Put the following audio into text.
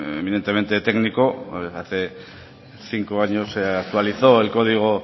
eminentemente técnico hace cinco años se actualizó el código